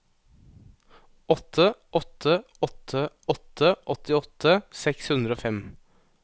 åtte åtte åtte åtte åttiåtte seks hundre og fem